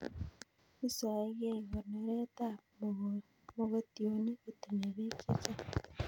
Isoeg'ei konoret ab mogotionik kotinye peek chechang'